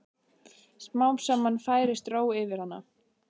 Smám saman færist ró yfir hana.